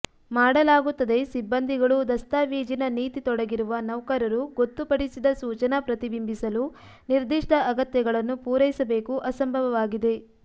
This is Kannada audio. ಮಾಡಲಾಗುತ್ತದೆ ಸಿಬ್ಬಂದಿಗಳು ದಸ್ತಾವೇಜಿನ ನೀತಿ ತೊಡಗಿರುವ ನೌಕರರು ಗೊತ್ತುಪಡಿಸಿದ ಸೂಚನಾ ಪ್ರತಿಬಿಂಬಿಸಲು ನಿರ್ದಿಷ್ಟ ಅಗತ್ಯಗಳನ್ನು ಪೂರೈಸಬೇಕು ಅಸಂಭವವಾಗಿದೆ